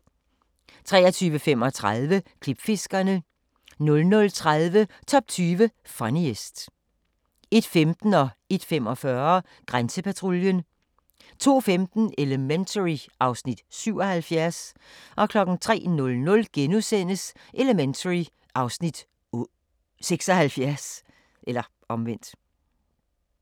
23:35: Klipfiskerne 00:30: Top 20 Funniest 01:15: Grænsepatruljen 01:45: Grænsepatruljen 02:15: Elementary (Afs. 77) 03:00: Elementary (Afs. 76)*